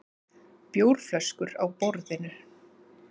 Bjórflöskur á borðinu.